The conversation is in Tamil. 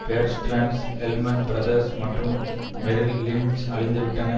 பேர் ஸ்டேர்ன்ஸ் லெஹ்மன் பிரதர்ஸ் மற்றும் மெரில் லிஞ்ச் அழிந்துவிட்டன